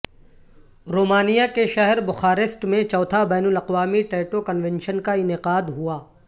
رومانیہ کے شہر بخارسٹ میں چوتھا بین الاقوامی ٹیٹو کنونشن کا انعقاد ہوا